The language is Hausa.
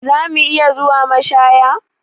Za mu iya zuwa mashaya?